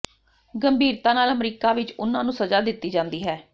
ਗੰਭੀਰਤਾ ਨਾਲ ਅਮਰੀਕਾ ਵਿਚ ਉਨ੍ਹਾਂ ਨੂੰ ਸਜ਼ਾ ਦਿੱਤੀ ਜਾਂਦੀ ਹੈ